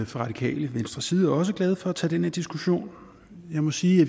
fra radikale venstres side også glade for at tage den her diskussion jeg må sige